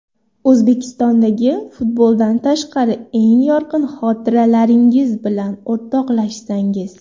O‘zbekistondagi futboldan tashqari eng yorqin xotiralaringiz bilan o‘rtoqlashsangiz.